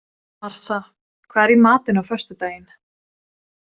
Marsa, hvað er í matinn á föstudaginn?